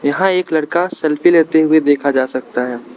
यहां एक लड़का सेल्फी लेते हुए देखा जा सकता है।